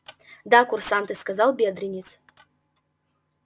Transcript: да курсанты сказал бедренец